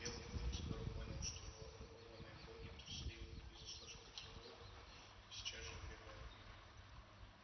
белый клык скоро понял что вороватые боги трусливы и заслышав тревогу сейчас же убегают